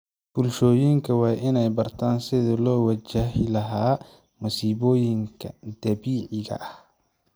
Bulshooyinka waa inay bartaan sidii loo wajahilahaa masiibooyinka dabiiciga ah.